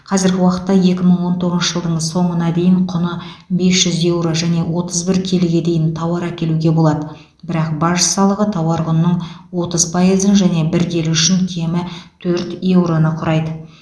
қазіргі уақытта екі мың он тоғызыншы жылдың соңына дейін құны бес жүз еуро және отыз бір келіге дейін тауар әкелуге болады бірақ баж салығы тауар құнының отыз пайызын және бір келі үшін кемі төрт еуроны құрайды